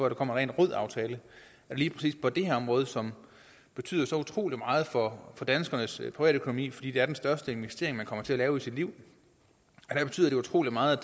en ren rød aftale lige præcis på det her område som betyder så utrolig meget for danskernes privatøkonomi fordi det er den største investering man kommer til at lave i sit liv betyder det utrolig meget